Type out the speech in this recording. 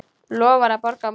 Lofar að borga á morgun.